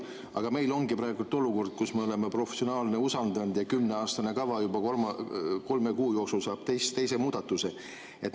Aga meil on praegu olukord, kus me oleme professionaale usaldanud ja kümneaastane kava saab juba kolme kuu jooksul teise muudatuse.